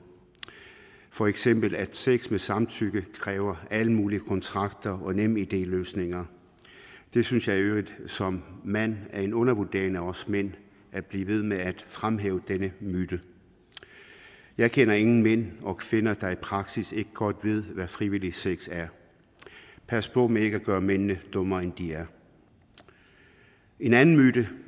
for eksempel at sex med samtykke kræver alle mulige kontrakter og nemid løsninger jeg synes i øvrigt som mand at det er en undervurdering af os mænd at blive ved med at fremhæve denne myte jeg kender ingen mænd og kvinder der i praksis ikke godt ved hvad frivillig sex er pas på med ikke at gøre mændene dummere end de er en anden myte